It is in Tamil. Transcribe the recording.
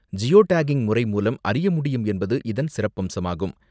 ஜியோ டேக்கிங் முறை மூலம் அறிய முடியும் என்பது இதன் சிறப்பம்சமாகும்.